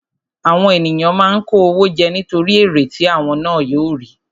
Àwọn ènìyàn máa ń kó owó jẹ nítorí èrè tí àwọn ná yóò rí.